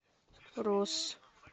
росс